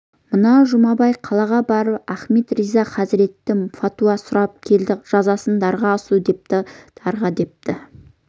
мына жұмабай қалаға барып ахмет риза хазіреттен фатуа сұрап келді жазасы дарға асу депті дарға деп